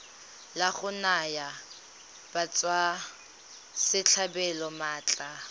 la go naya batswasetlhabelo maatla